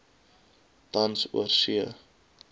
tans oorsee a